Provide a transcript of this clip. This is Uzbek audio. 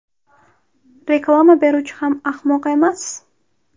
Reklama beruvchi ham ahmoq emas.